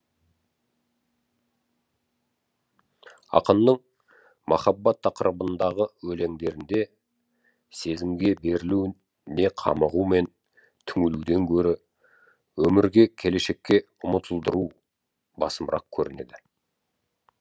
ақынның махаббат тақырыбындағы өлеңдерінде сезімге берілу не қамығу мен түңілуден гөрі өмірге келешекке ұмытылдыру басымырақ көрінеді